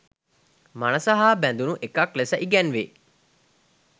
මනස හා බැඳුණු එකක් ලෙස ඉගැන්වේ.